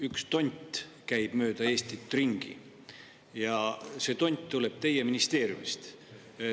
Üks tont käib mööda Eestit ringi ja see tont tuleb teie ministeeriumist.